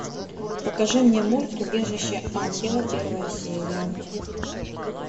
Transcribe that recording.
покажи мне мульт убежище ангела первая серия